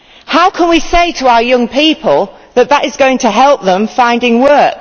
How can we say to our young people that this is going to help them find work?